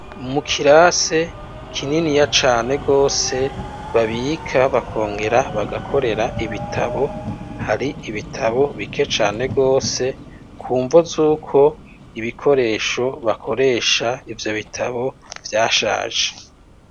Mu kirase kininiya cane gose, babika bakongera bagakorera ibitabo, hari ibitabo bike cane gose kumva z'uko ibikoresho bakoresha ivyo bitabo vyashaje.